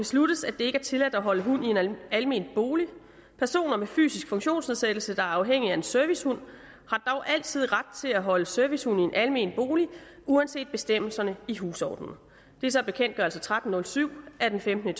besluttes at det ikke er tilladt at holde hund i en almen bolig personer med fysisk funktionsnedsættelse der er afhængige af en servicehund har dog altid ret til at holde servicehund i en almen bolig uanset bestemmelserne i husordenen det er så bekendtgørelse tretten hundrede og syv af femtende